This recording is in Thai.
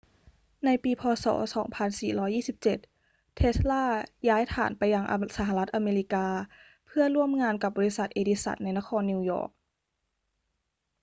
ในปี พ. ศ. 2427 เทสลาย้ายฐานไปยังสหรัฐอเมริกาเพื่อร่วมงานกับบริษัทเอดิสันในนครนิวยอร์ก